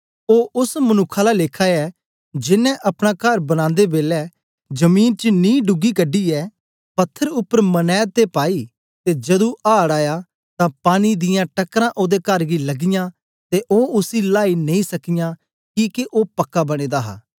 ओ ओस मनुक्ख आला लेखा ऐ जेनें अपना कर बनांदे बेलै जमीन च ढूगी कढी यै पत्थर उपर मनैद ते पाई ते जदू आड़ आया तां पानी दियां टकरां ओदे कर गी लगियाँ ते ओ उसी लाई नेई सकीयां किके ओ पक्का बने दा हा